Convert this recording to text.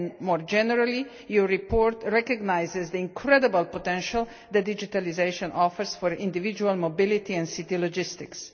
More generally, the report recognises the incredible potential that digitalisation offers for individual mobility and city logistics.